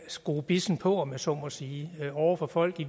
skrue bissen på om jeg så må sige over for folk i